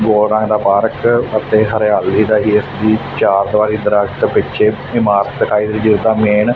ਦੋ ਰੰਗ ਦਾ ਪਾਰਕ ਅਤੇ ਹਰਿਆਲੀ ਦਾ ਵੀ ਚਾਰ ਦੀਵਾਰੀ ਦਰਖੱਤ ਪਿੱਛੇ ਇਮਾਰਤ ਦਿਖਾਈ ਦੇ ਰਹੀ ਜਿਦਾ ਮੇਨ--